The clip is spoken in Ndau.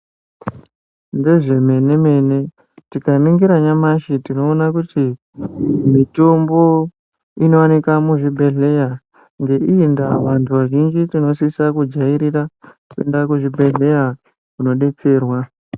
Ndezvemene mene tikaningira nyamashi tinoona kuti mitombo inowanikwa muzvibhedhlera ngeiindaa antu vazhinji tinosise kujairira kuenda kuzvibhedhlera kunodetserwa.